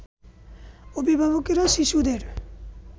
অভিভাবকেরা শিশুদের